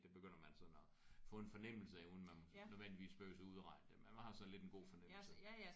Det begynder man sådan at få en fornemmelse af uden man nødvendigvis behøves at udregne det men man har sådan lidt en god fornemmelse